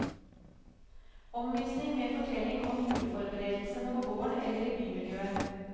Omvisning med fortelling om juleforberedelsene på gården eller i bymiljøet.